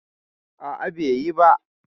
A'a, bai yi ba.